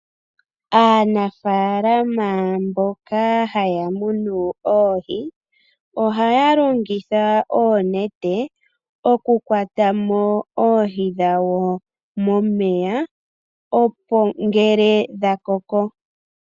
Aanafaalama mboka haya munu oohi, ohaya longitha oonete okukwata mo oohi dhawo momeya ngele dhakoko.